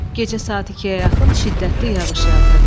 Gecə saat ikiyə yaxın şiddətli yağış yağdı.